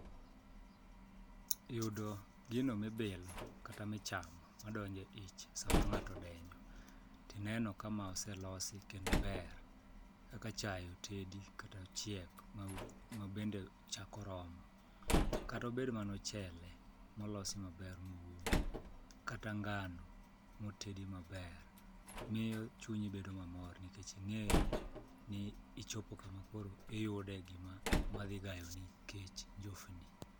Yudo gino mibilo kata michamo madonjo e ich sama ng'ato odenyo tineno ka ma oselosi kendo ber kaka chae otedi kata ochiek mabende chak oromo kata obed mana ochele molosi maber moum kata ngano motedi maber miyo chunyi bedo mamor nikech ing'eyo ni ichopo kama koro iyude gimadhi gayoni kech, njofni.